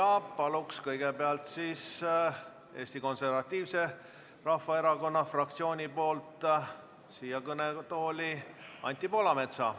Palun kõigepealt siia kõnetooli Eesti Konservatiivse Rahvaerakonna fraktsiooni esindaja Anti Poolametsa.